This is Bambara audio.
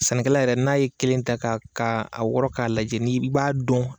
Sɛnɛkɛla yɛrɛ n'a ye kelen ta ka ka a wɔrɔ k'a lajɛ i b'a dɔn.